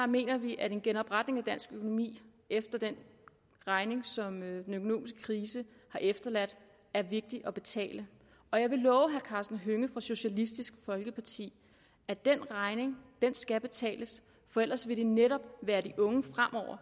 mener vi at en genopretning af dansk økonomi efter den regning som den økonomiske krise har efterladt er vigtig at betale og jeg kan love herre karsten hønge fra socialistisk folkeparti at den regning skal blive betalt for ellers vil det netop være de unge